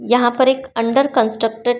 यहां पर एक अंडर कंस्ट्रक्टेड --